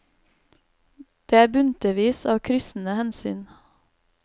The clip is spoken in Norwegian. Det er buntevis av kryssende hensyn.